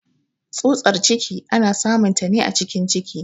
Tsutar ciki ana samun ta ne a cikin ciki.